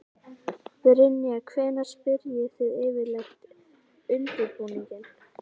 Brynja: Hvenær byrjið þið yfirleitt undirbúninginn?